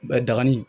Dagani